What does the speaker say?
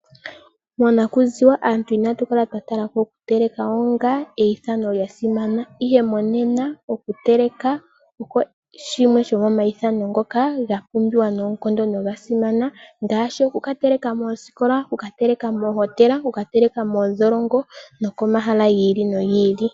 Monakuziwa aantu inatu kala twa talako okuteleka onga eithano lyasimana ihe monena okuteleka osho shimwe shomomaithano ngoka ga pumbiwa nolyasimana ngaashi oku kateleka moositola, moohotela, moosikola, moondholongo nokomahala giili.